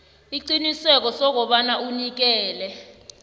isiqiniseko sokobana unikela